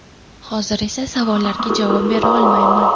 Hozir esa savollarga javob bera olmayman.